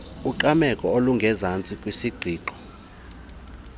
ungqameko olungezantsi kwisiqingqo